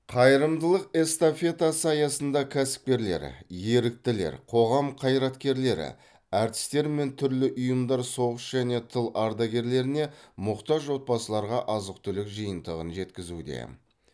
қайырымдылық эстафетасы аясында кәсіпкерлер еріктілер қоғам қайраткерлері әртістер мен түрлі ұйымдар соғыс және тыл ардагерлеріне мұқтаж отбасыларға азық түлік жиынтығын жеткізуде